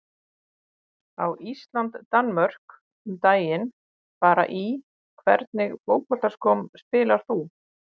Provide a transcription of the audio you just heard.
Á Ísland-Danmörk um daginn bara Í hvernig fótboltaskóm spilar þú?